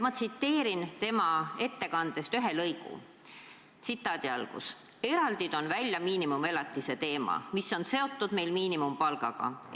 Ma tsiteerin tema ettekandest ühte lõiku: "Eraldi toon välja miinimumelatise teema, mis on meil seotud miinimumpalgaga.